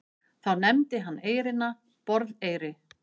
Þá nefndi hann eyrina Borðeyri.